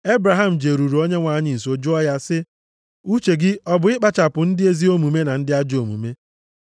Ebraham jeruru Onyenwe anyị nso jụọ ya sị, “Uche gị ọ bụ ikpochapụ ndị ezi omume na ndị ajọ omume?